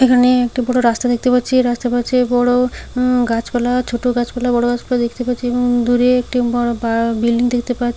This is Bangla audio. এখানে একটি বড় রাস্তা দেখতে পাচ্ছি এই রাস্তার পাশে বড় উম- গাছপালা ছোট গাছপালা বড় গাছপালা দেখতে পাচ্ছি উম- এবং দূরে- এ- একটি বড় বা- বিল্ডিং দেখতে পা--